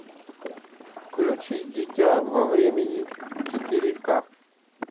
включи дитя во времени четыре к